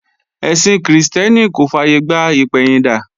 Ẹ̀sìn Krìstẹ́nì kò fàyègbà ìpẹ̀yìndà